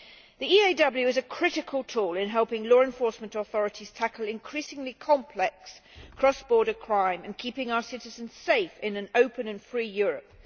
The EAW is a critical tool in helping law enforcement authorities to tackle increasingly complex cross border crime and keeping our citizens safe in an open and free Europe.